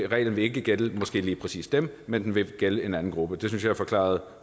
reglen vil ikke gælde måske lige præcis dem men den vil gælde en anden gruppe det synes jeg forklarede